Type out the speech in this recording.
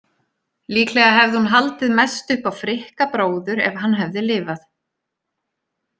Líklega hefði hún haldið mest upp á Frikka bróður ef hann hefði lifað.